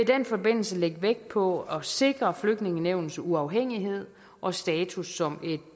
den forbindelse lægge vægt på at sikre flygtningenævnets uafhængighed og status som et